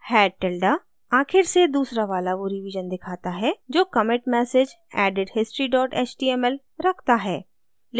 head tilde आखिर से दूसरा वाला वो रिवीजन दिखाता है जो commit message added history html रखता है